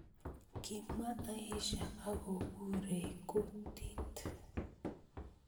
Kimwa Aisha akongurei kutit